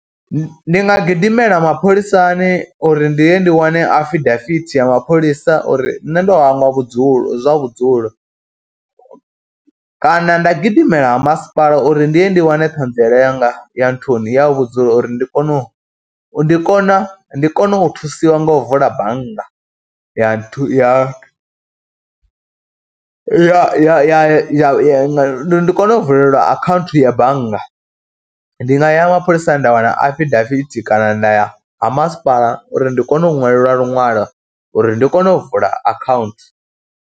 Ndi nga gidimela mapholisani uri ndi ye ndi wane afidavithi ya mapholisa uri nṋe ndo hangwa vhudzulo zwa vhudzulo kana nda gidimela ha masipala uri ndi ye ndi wane ṱhanziela yanga ya nthuni ya vhudzulo, uri ndi kone u ndi kona, ndi kona u thusiwa nga u vula bannga ya thu, ya ya ya, ndi kone u vulelwa akhaunthu ya bannga. Ndi nga ya mapholisani nda wana afidavithi kana nda ya ha masipala uri ndi kone u ṅwalelwa luṅwalo uri ndi kone u vula akhaunthu.